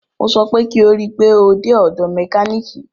Mo sọ pé kí o rí pe o dé ọ̀dọ̀ mẹkánìkì!